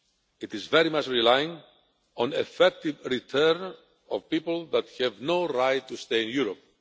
It is very much relying on effective return of people that have no right to stay in Europe.